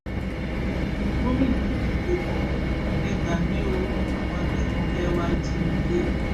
gomina yìí figbe bò e gbà mí o àwọn agbébọn fee wá jí mi gbé